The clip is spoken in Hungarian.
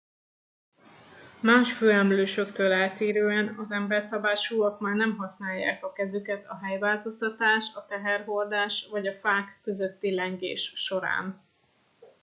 más főemlősöktől eltérően az emberszabásúak már nem használják a kezüket a helyváltoztatás a teherhordás vagy a fák közötti lengés során